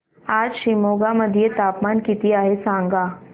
आज शिमोगा मध्ये तापमान किती आहे सांगा